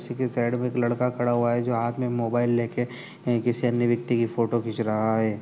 इसी के साइड में एक लड़का खड़ा हुआ है जो हाथ में मोबाइल लेके किसी अन्य व्यक्ति की फोटो खींच रहा है।